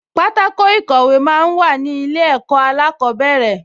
Pátákò ìkọ̀wé máa ń wà ní ilé ẹ̀kọ́ alákọ̀ọ́bẹ̀rẹ̀